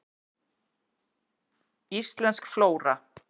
Íslensk flóra.